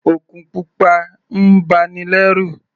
Òkun pupa ń ba ni lẹ́rù.